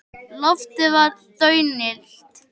Loftið var daunillt.